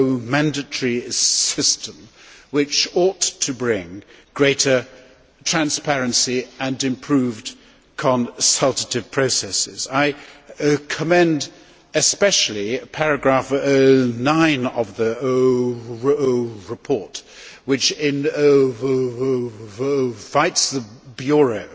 mandatory system which ought to bring greater transparency and improved consultative processes. I commend especially paragraph 9 of the report, which invites the Bureau